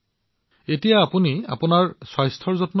তেন্তে এতিয়া আপোনাৰ স্বাস্থ্যৰ বাবে কি কৰে